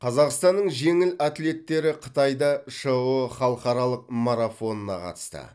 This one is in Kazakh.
қазақстанның жеңіл атлеттері қытайда шыұ халықаралық марафонына қатысты